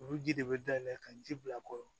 Olu ji de bɛ da yɛlɛ ka ji bila kɔrɔ